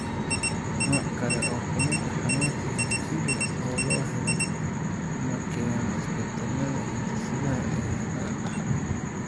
Nooc kale oo ka mid ah xanuunka, hemophilia oo la helay, ma keeno isbeddellada hiddasidaha ee la dhaxlo.